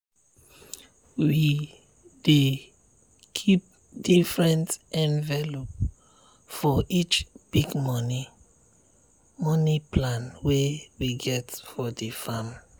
we dey keep different envelope for each big money money plan wey we get for the farm.